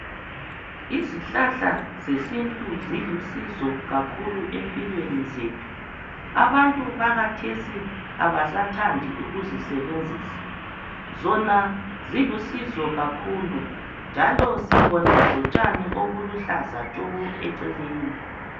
Izihlahla zesintu zilusizo kakhulu empilweni zethu, abantu bakhathesi kabasathandi ukuzisebenzisa, zona zilusizo kakhulu, njalo sibona lotshani obuluhlaza tshoko eceleni.